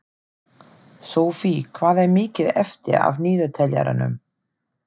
Sophie, hvað er mikið eftir af niðurteljaranum?